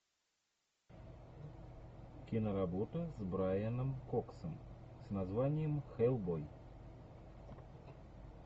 киноработа с брайаном коксом с названием хеллбой